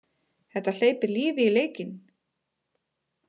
Þetta hleypir lífi í leikinn!